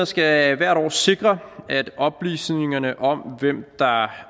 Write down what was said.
skal hvert år sikre at oplysningerne om hvem der ejer